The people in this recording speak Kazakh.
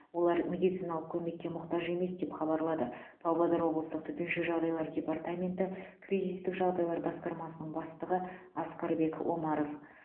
олар медициналық көмекке мұқтаж емес деп хабарлады павлодар облыстық төтенше жағдайлар департаменті кризистік жағдайлар басқармасының бастығы асқарбек омаров